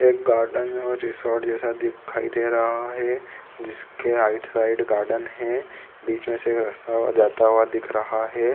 एक गार्डन मे रिसोर्ट जैसा दिखाई दे रहा है जिसके राइट साइड गार्डन है बीच मे से रास्ता जाता हुआ दिख रहा है।